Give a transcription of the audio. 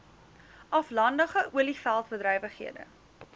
aflandige olieveld bedrywighede